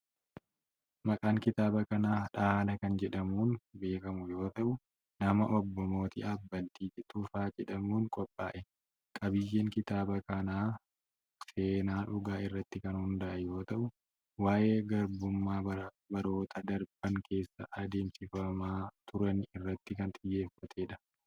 Maqaan kitaaba kanaa 'Dhaala' kan jedhamuun beekamu yoo ta'u, nama obbo Mootii Abbaltii Tufaa jedhamuun qophaa'e. Qabiiyyeen kitaaba kanaa seenaa dhugaa irratti kan hundaa'e yoo ta'u, waa'ee garbummaa baroota darban keessa adeemsifamaa turan irratti kan xiyyeeffatee dha.